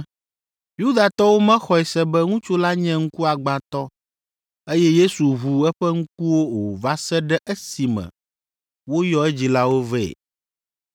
Yudatɔwo mexɔe se be ŋutsu la nye ŋkuagbãtɔ, eye Yesu ʋu eƒe ŋkuwo o va se ɖe esime woyɔ edzilawo vɛ.